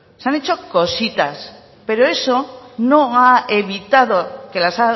se han hecho cositas pero eso no ha evitado que las